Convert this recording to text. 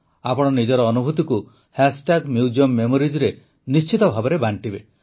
ଆପଣ ନିଜର ଅନୁଭୂତିକୁ ମ୍ୟୁଜିୟମ୍ moriesରେ ନିଶ୍ଚିତ ଭାବେ ବାଂଟିବେ